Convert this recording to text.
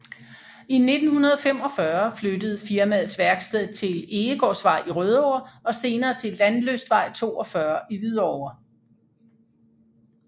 I 1945 flyttede firmaets værksted til Egegårdsvej i Rødovre og senere til Landlystvej 42 i Hvidovre